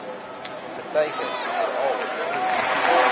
geteiken veral vroeg